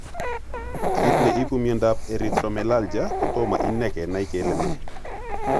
Kit ne ipu miondap Erythromelalgia? Kotomo ine kenai kele ne.